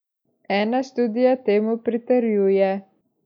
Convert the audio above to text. Ena študija temu pritrjuje.